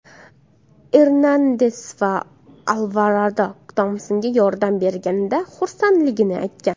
Ernandes va Alvarado Tompsonga yordam berganidan xursandligini aytgan.